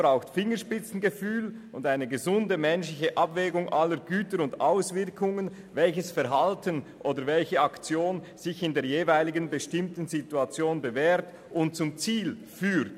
Es braucht Fingerspitzengefühl und eine gesunde menschliche Abwägung aller Güter und Auswirkungen, welches Verhalten oder welche Aktion sich in der jeweiligen bestimmten Situation bewährt und zum Ziel führt.